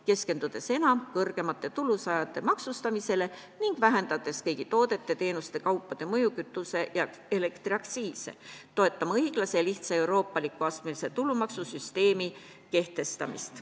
Keskendudes enam kõrgema tulu saajate maksustamisele ning vähendades kõiki tooteid, teenuseid ja kaupu mõjutavat kütuse- ja elektriaktsiisi, toetame õiglase ja lihtsa ning euroopaliku astmelise tulumaksusüsteemi kehtestamist.